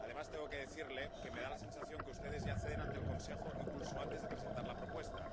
Además, tengo que decirle que me da la sensación de que ustedes ya ceden ante el Consejo incluso antes de presentar la propuesta.